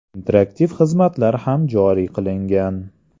Interaktiv xizmatlar ham joriy qilingan.